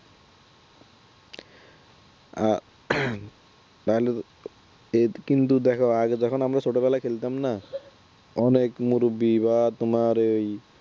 আহ তাহলে এ কিন্তু দেখো আগে যখন আমরা যখন ছোটবেলায় খেলতাম না অনেক মুরুব্বী বা তোমার ওই